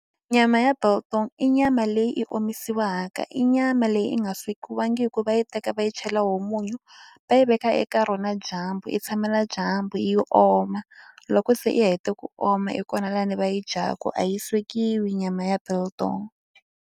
Nyama ya biltong i nyama leyi i omisiwaka i nyama leyi i nga swekiwangiku va yi teka va yi chela wo munyu va yi veka eka rona dyambu i tshamela dyambu yi oma loko se i ya hete ku oma hi kona lani va yi dyaka a yi swekiwi nyama ya biltong.